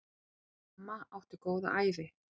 Amma átti góða ævi.